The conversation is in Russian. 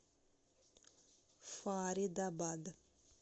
фаридабад